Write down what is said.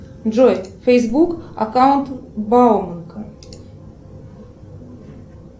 джой фейсбук аккаунт бауманка